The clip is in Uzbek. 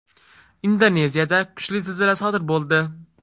Indoneziyada kuchli zilzila sodir bo‘ldi.